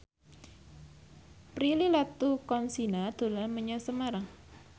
Prilly Latuconsina dolan menyang Semarang